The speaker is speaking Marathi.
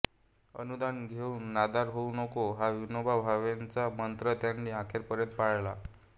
अनुदान घेऊन नादार होऊ नको हा विनोबा भावे यांचा मंत्र त्यांनी अखेरपर्यंत पाळला